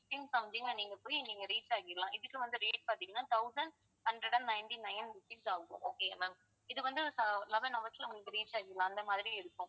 fifteen something ல நீங்க போயி நீங்க reach ஆயிடலாம் இதுக்கு வந்து rate பாத்தீங்கன்னா thousand hundred and ninety nine rupees ஆகும் okay யா ma'am இது வந்து ஆஹ் eleven hourse ல உங்களுக்கு reach ஆயிரும் அந்த மாதிரி இருக்கும்